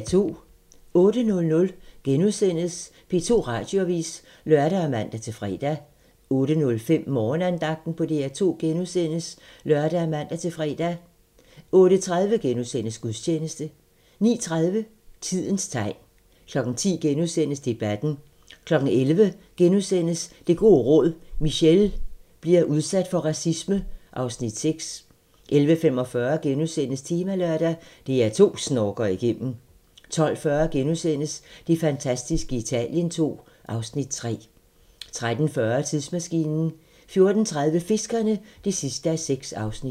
08:00: P2 Radioavis *(lør og man-fre) 08:05: Morgenandagten på DR2 *(lør og man-fre) 08:30: Gudstjeneste * 09:30: Tidens tegn 10:00: Debatten * 11:00: Det gode råd: Michele bliver udsat for racisme (Afs. 6)* 11:45: Temalørdag: DR2 snorker igennem * 12:40: Det fantastiske Italien II (Afs. 3)* 13:40: Tidsmaskinen 14:30: Fiskerne (6:6)